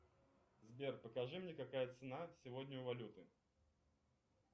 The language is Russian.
сбер покажи мне какая цена сегодня у валюты